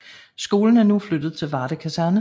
Skolen er nu flyttet til Varde Kaserne